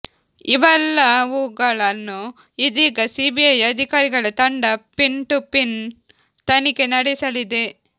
ಇವೆಲ್ಲವೂಗಳನ್ನು ಇದೀಗ ಸಿಬಿಐ ಅಧಿಕಾರಿಗಳ ತಂಡ ಪಿನ್ ಟು ಪಿನ್ ತನಿಖೆ ನಡೆಸಲಿದೆ